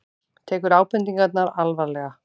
Tekur ábendingarnar alvarlega